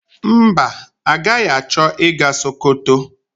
Mba, agaghị achọ ịga Sokoto.